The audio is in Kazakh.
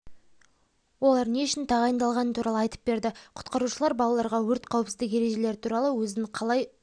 олар не үшін тағайындалғаны туралы айтып берді құтқарушылар балаларға өрт қауіпсіздігі ережелері туралы өзін қалай